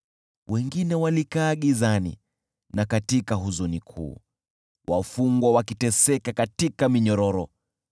Wengine walikaa gizani na katika huzuni kuu, wafungwa wakiteseka katika minyororo,